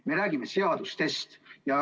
Me räägime seadustest.